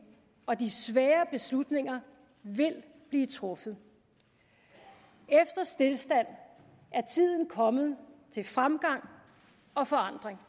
og de svære beslutninger vil blive truffet efter stilstand er tiden kommet til fremgang og forandring